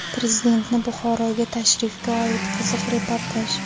Prezidentni Buxoroga tashrifga oid qiziq reportaj.